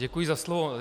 Děkuji za slovo.